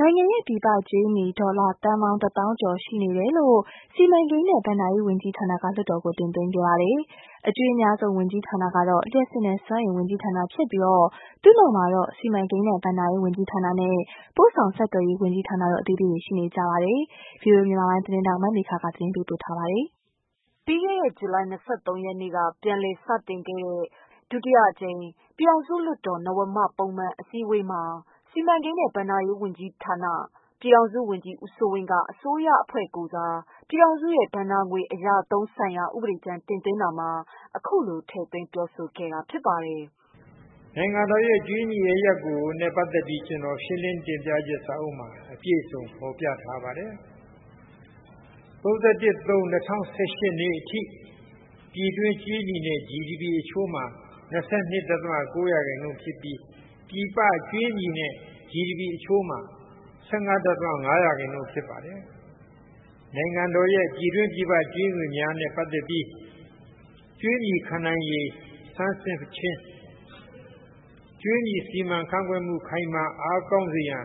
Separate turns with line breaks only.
နိုင်ငံရဲ့ ပြည်ပကြွေးမြီ ဒေါ်လာသန်းပေါင်း ၁သောင်းကျော်ရှိနေတယ်လို့ စီမံကိန်းနဲ့ ဘဏ္ဍာ ရေးဝန်ကြီးဌာနက လွှတ်တော်ကို တင်သွင်းခဲ့ပါတယ်။ အကြွေးအများဆုံး ဝန်ကြီးဌာန ကတော့ လျှပ်စစ်နဲ့ စွမ်းအင်ဝန်ကြီးဌာနဖြစ်ကာ သူ့နောက်မှာတော့ စီမံကိန်းနဲ့ ဘဏ္ဍာ ရေး ဝန်ကြီးဌာနနဲ့ ပို့ဆောင်ဆက်သွယ်ရေးဝန်ကြီးဌာန တွေအသီးသီးရှိနေပါတယ်။ ဗွီအိုအေ သတင်းထောက်မမေခ သတင်းပေးပို့ထားပါတယ်
။ ပြီးခဲ့တဲ့ ဇူလိုင် ၂၃ ရက်နေ့ကပြန်လည်စတင်တဲ့ ဒုတိယအကြိမ် ပြည်ထောင်စု လွှတ် တော်၊ နဝမပုံမှန်အစည်းအဝေးမှာ စီမံကိန်းနဲ့ ဘဏ္ဍာရေးဝန်ကြီးဌာန ပြည်ထောင်စု ဝန်ကြီး ဦးစိုးဝင်းက အစိုးရအဖွဲ့ကိုယ်စား ပြည်ထောင်စုရဲ့ ဘဏ္ဍာငွေအရ အသုံးဆိုင်ရာ ဥပဒေကြမ်းတင်သွင်းတာမှာ ထည့်သွင်းပြောဆိုတာပါ
။ "နိုင်ငံတော်ရဲ့ ကြွေးမြီအရပ်ရပ်နဲ့ ပတ်သက်ပြီး ကျနော်ရှင်းလင်းတင်ပြချက်စာအုပ်မှာ အပြည့်အစုံဖော်ပြထားပါတယ်။ ၃၁၊၃၊ ၂၀၁၈ အထိ ပြည်တွင်းကြွေးမြီနဲ့ GDP အချိုးမှာ ၂၂.၉ ရာခိုင်နှုန်းဖြစ်ပြီး၊ ပြည်ပကြွေးမြီနဲ့ GDP အချိုးမှာ၁၅.၅ ရာခိုင်နှုန်းဖြစ်ပါတယ်။ နိုင်ငံတော် ပြည်တွင်းပြည်ပကြွေးမြီတွေနဲ့ ပတ်သက်ပြီး ကြွေးမြီခံနိုင်ရည် စမ်းစစ်ခြင်း ၊ ကြွေးမြီခန့်ခွဲမှု စီမံအားကောင်းစေရန်